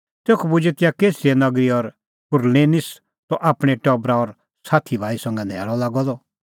तेखअ पुजै तिंयां कैसरिया नगरी और कुरनेलिस त आपणैं टबरा और साथी भाई संघै न्हैल़अ लागअ द